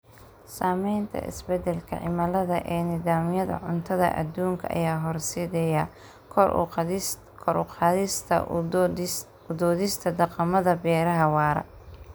Saamaynta isbeddelka cimilada ee nidaamyada cuntada adduunka ayaa horseedaya kor u qaadista u doodista dhaqamada beeraha waara.